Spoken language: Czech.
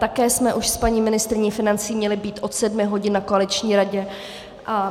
Také jsme už s paní ministryní financí měly být od sedmi hodin na koaliční radě.